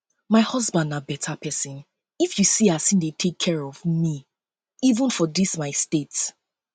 my husband na beta person if you see as he dey take care of me even for dis my state